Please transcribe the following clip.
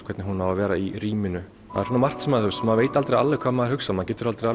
hvernig hún á að vera í rýminu það er svona margt maður maður veit aldrei alveg hvað maður hugsar maður getur aldrei